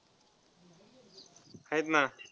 आहेत ना.